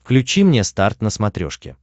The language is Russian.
включи мне старт на смотрешке